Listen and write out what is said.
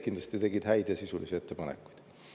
Kindlasti tegid häid ja sisulisi ettepanekuid.